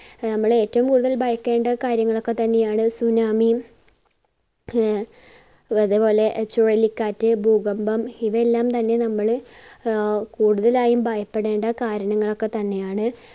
നമ്മൾ ഏറ്റവും കൂടുതൽ ഭയക്കേണ്ട കാര്യങ്ങളൊക്കെ തന്നെയാണ് tsunami യും ആഹ് അതെ പോലെ ചുഴലിക്കാറ്റ്, ഭൂകമ്പം ഇവയല്ലാം തന്നെ നമ്മൾ ആഹ് കൂടുതലായും ഭയപ്പെടേണ്ട കാര്യങ്ങളൊക്കെ തന്നെയാണ്.